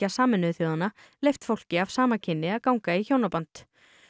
Sameinuðu þjóðanna leyft fólki af sama kyni að ganga í hjónaband